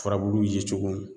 Furabulu yecogo